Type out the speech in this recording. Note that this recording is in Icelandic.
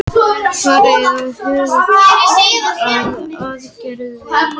Farið að huga að aðgerðum